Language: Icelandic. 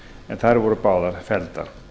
en þær voru báðar felldar